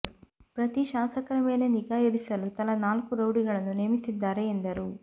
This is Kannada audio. ಪ್ರತಿ ಶಾಸಕರ ಮೇಲೆ ನಿಗಾ ಇರಿಸಲು ತಲಾ ನಾಲ್ಕು ರೌಡಿಗಳನ್ನು ನೇಮಿಸಿದ್ದಾರೆ ಎಂದರು